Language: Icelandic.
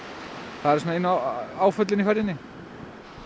það eru einu áföllin í ferðinni